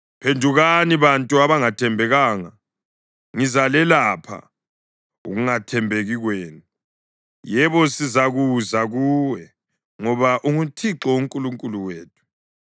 “Phendukani, bantu abangathembekanga, ngizalelapha ukungathembeki kwenu.” “Yebo, sizakuza kuwe, ngoba unguThixo uNkulunkulu wethu.